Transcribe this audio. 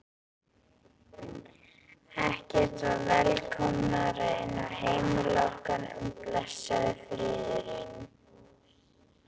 Ekkert var velkomnara inn á heimili okkar en blessaður friðurinn.